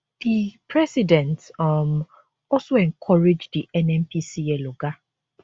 di president um also encourage di nnpcl oga